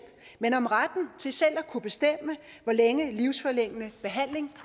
men om retten til selv at kunne bestemme hvor længe livsforlængende behandling